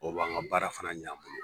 o b'an ka baara fana ɲɛ an bolo